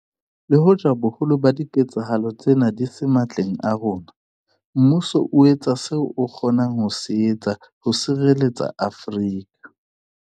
Le hoja boholo ba diketsahalo tsena di se matleng a rona, mmuso o etsa seo o kgonang ho se etsa ho sireletsa Afrika